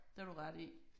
Det har du ret i